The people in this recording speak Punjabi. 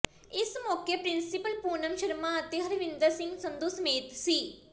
ਇਸ ਮੌਕੇ ਪਿੰ੍ਸੀਪਲ ਪੂਨਮ ਸ਼ਰਮਾ ਅਤੇ ਹਰਵਿੰਦਰ ਸਿੰਘ ਸੰਧੂ ਸਮੇਤ ਸ